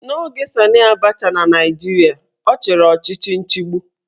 N'oge Sanị Abacha na Naijiria, ọ chịrị ọchịchị nchigbu